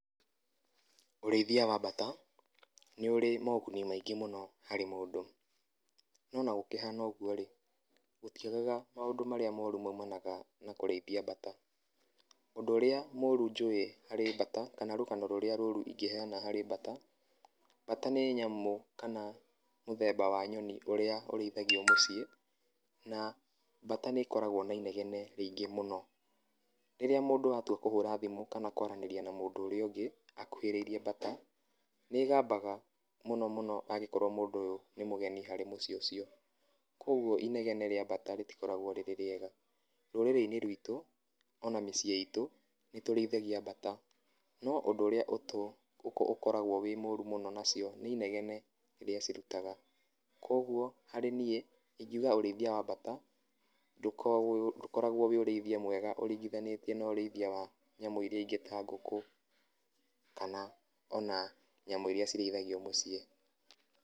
Ũrĩithia wa mbata nĩ ũrĩ moguni maingĩ mũno harĩ mũndũ, nona gũkĩha ũguo rĩ gũtiagaga maũndũ marĩa moru maumanaga na kũrĩithia bata, ũndũ ũrĩa moru njũĩ harĩ mbata kana rũgano rũrĩa rũru ingĩheana harĩ mbata, mbata nĩ nyamũ kana mũthemba wa nyoni ũrĩa ũrĩithagio mũciĩ, na mbata nĩ koragwo na inegene rĩingĩ mũno. Rĩrĩa mũndũ atua kũhũra thimũ kana kwaranĩria na mũndũ ũrĩa ũngĩ akuhĩrĩirie mbata nĩ gambaga mũno mũno angĩkorwo mũndũ ũyũ nĩ mũgeni harĩ mũciĩ ũcio, ũguo inegene rĩa mbata rĩtikoragwo rĩrĩ rĩega. Rũrĩrĩ-inĩ ruitũ ona mĩciĩ itũ nĩ tũrĩithagia mbata no ũndũ ũrĩa ũkoragwo wĩ mũru mũno nacio nĩ inegene rĩrĩa cirutaga, kwoguo harĩ niĩ ndingiuga ũrĩithia wa mbata ndũkoragwo ũrĩ ũrĩithia mwega ũringithanĩtie wa nyamũ iria ingĩ ta ngũkũ kana ona nyamũ iria irĩithagio mũciĩ.